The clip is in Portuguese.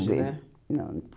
Não